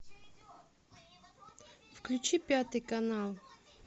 включи пятый канал